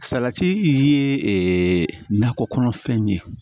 Salati ye ɛɛ nakɔ kɔnɔfɛnw ye